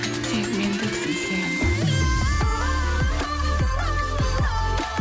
тек мендіксің сен ууу